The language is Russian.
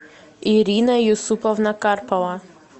ирина юсуповна карпова